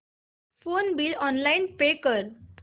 phone bill online pay कर